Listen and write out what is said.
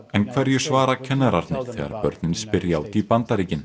en hverju svara kennararnir þegar börnin spyrja út í Bandaríkin